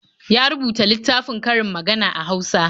Ya rubuta littafin karin magana a Hausa.